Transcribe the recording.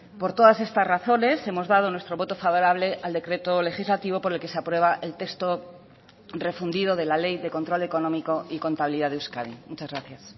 por todas estas razones hemos dado nuestro voto favorable al decreto legislativo por el que se aprueba el texto refundido de la ley de control económico y contabilidad de euskadi muchas gracias